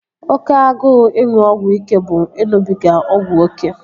Oke agụụ ịṅụ ọgwụ ike bụ ịṅụbiga ọgwụ oké